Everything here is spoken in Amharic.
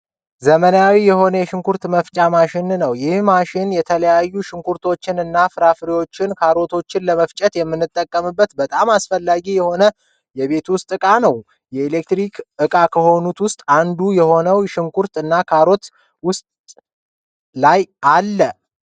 ዘመናዊ የሆነ የሽንኩርት መፍጫ ማሽን ነው። ይህ ማሽን የተለያዩ ሽንኩርቶችን እና ፍራፍሬዎችን ካሮቶችን ለመፍጨት የምንጠቀመበት በጣም አስፈላጊ የሆነ የቤት ውስጥ ዕቃ ነው። ኤሌክትሮኒክስ ዕቃ ከሆኑት ውስጥ አንዱ ሲሆን ሽንኩርት እና ካሮት ውስጡ ላይ አለ።